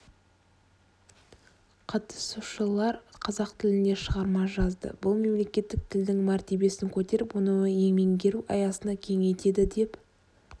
қатысушылар қазақ тілінде шығарма жазды бұл мемлекеттік тілдің мәртебесін көтеріп оны меңгеру аясын кеңейтеді деп